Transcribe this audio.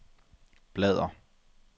bladr